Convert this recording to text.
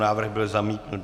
Návrh byl zamítnut.